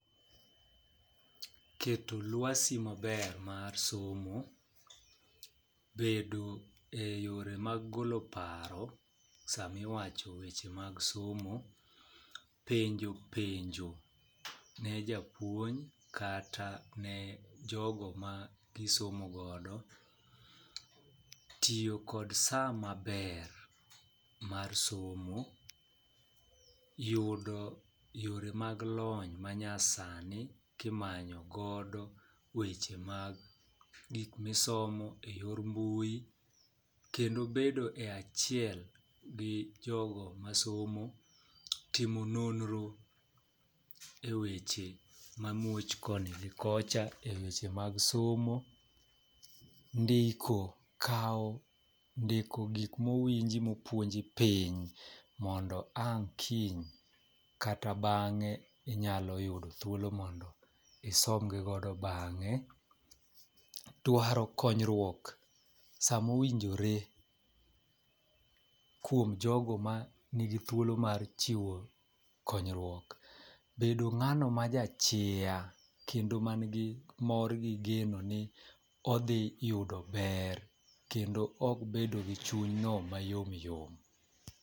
Keto lwasi maber mar somo , bedo e yore mag golo paro sami wacho weche mag somo, penjo penjo ne japuonj kata ne jogo ma gisomo godo, tiyo kod saa maber mar somo, yudo yore mag lony manya sani kimanyogodo weche mag gik misomo e yor mbui kendo bedo e achiel gi jogo masomo, timo nonro e weche mamuoch koni gi kocha eweche mag somo, ndiko, kawo ndiko gik mowinji mopuonji piny mondo ang kiny kata bange inyalo yudo thuolo mondo isong godo bang'e, dwaro konyruok sama owinjore kuom jodo manigi thulo mar chiwo konyruok, bedo ng'ano ma jaa chiya kendo man gi mor gi geno ni odhi yudo ber kendo ok bedo gi chuny no mayom yom.